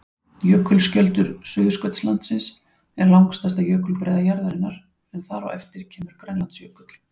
Jökulskjöldur Suðurskautslandsins er langstærsta jökulbreiða jarðarinnar en þar á eftir kemur Grænlandsjökull.